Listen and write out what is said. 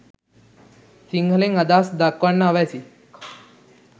සිංහලෙන් අදහස් දක්වන්න අවැසි